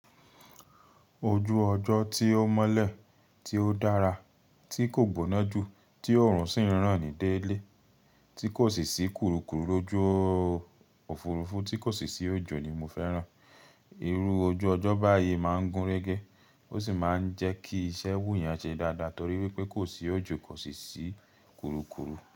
Ojú ọjọ́ tí ó mọ́lẹ̀, tí ó dára, tí kò gbóná jù, tí ọrùn sì ń ràn ní dé ilé, tí kò sì sí kurukuru lójú òfurufú, tí kò sì sí òjò ni mo fẹ́ràn. Irú ojú ọjọ́ báyìí má ń gúnrégé, ó sì má ń jẹ́ kí iṣẹ́ wù yàn ṣe dáadáa torí wípé kò sì òjò, kò sì sí kurukuru.